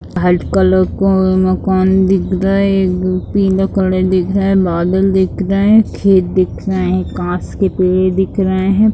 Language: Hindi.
वाइट कलर का मकान दिख रहा है एक पीला कलर दिख रहा है बादल दिख रहे खेत दिख रहे है काँच के पेड़ दिख रहे है।